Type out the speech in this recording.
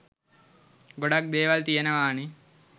ගොඩක්‌ දේවල් තියෙනවානෙ.